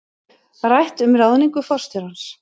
Rætt um ráðningu forstjórans